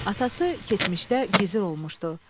Atası keçmişdə gizir olmuşdu.